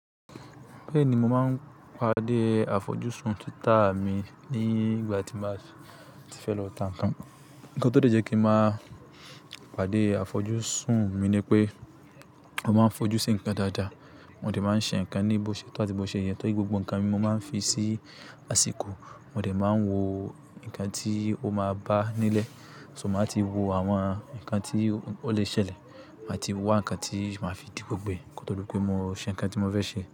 Bẹ́ẹ̀ni, mo máa ń pàdé àfojúsùn títa mi nígbà tí n báa ti fẹ́ lọ tà ń kan. Ǹkan tó dẹ́ jẹ́kí ń máa pàdé àfojúsùn mi ni pé, mo máa ń fojú sí ń kan dáadáa. Mò dé máa n ṣe ń kan ní bó ṣe tó àti bó ṣe yẹ torí gbogbo ń kan mi mo máa ń fi sí àsìkò. Mò dé máa ń wò ń kan tí ó máa bá nílẹ̀. So máa ti wò àwọn ń kan tí ó lè ṣẹlẹ̀. Máa ti wá ń kan tí màá fi di gbogbo e. Kó tó dípé mo ṣe ń kan tí mo fẹ́ ṣe.